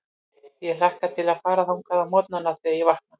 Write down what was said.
Ég hlakka til að fara þangað á morgnana, þegar ég vakna.